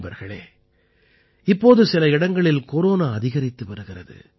நண்பர்களே இப்போது சில இடங்களில் கொரோனா அதிகரித்து வருகிறது